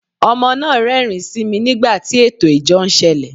Ọmọ náà rẹ́rìn-ín sí mi nígbà tí ẹtọ ìjọ n sẹle